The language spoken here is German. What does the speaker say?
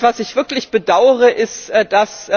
Was ich wirklich bedaure, ist, dass